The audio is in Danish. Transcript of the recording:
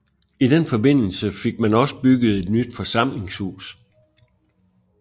I den forbindelse fik man også bygget et nyt forsamlingshus